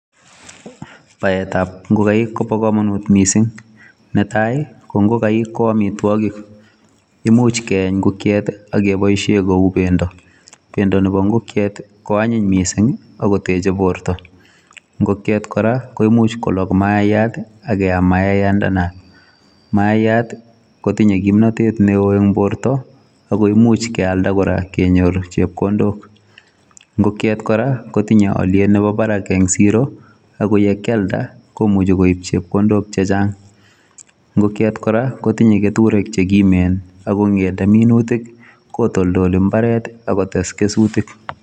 Baetab ngogaik kobo komonut missing. Netai, ko ngogaik ko amitwogik. Imuch keeny ngokiet, akeboisie kou pendo. Pendo nebo ngokiet, ko anyiny missing, akoteche borto. Ngokiet kora, koimuch kolog mayaiyat, akeam mayaiyandanat. Mayaiyat, kotinye kimnatet neo eng borto, akoimuch kealda kora kenyor chepkondok. Ngokiet kora, kotinye aliet nebo barak eng' siro, ako yekialda, komuchi koibpchepkondok chechang. Ngokiet kora, kotinye aliet nebo barak eng' siro, ako yekialda, komuchi koib chepondok chechang'. Ngokiet kora, kotinye keturek che kimen, akongete minutik, kotoldoli mbaret, akotes kesutik